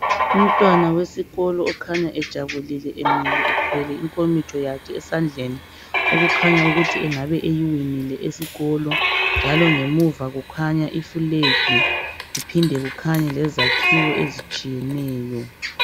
umntwana wesikolo okhanya ejabulile emile ethwele inkomitsho yakhe esandleni okukhanya ukuthi engabe eyiwinile esikolo njalo ngemuva kukhnya i flag kuphinde kukhanye lezakhiwo ezitshiyeneyo